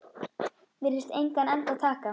Virðist engan enda taka.